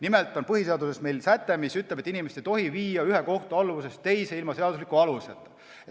Nimelt on põhiseaduses säte, mis ütleb, et inimest ei tohi viia ühe kohtu alluvusest teise ilma seadusliku aluseta.